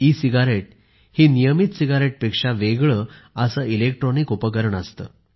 E cigarette ही नियमित सिगारेटपेक्षा वेगळे असे इलेक्ट्रॉनिक उपकरण असते